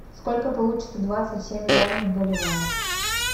сколько получится двадцать семь юаней в боливарах